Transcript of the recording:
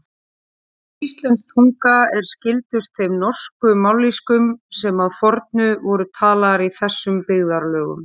Íslensk tunga er skyldust þeim norsku mállýskum sem að fornu voru talaðar í þessum byggðarlögum.